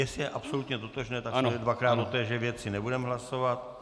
Jestli je absolutně totožné, tak dvakrát o téže věci nebudeme hlasovat.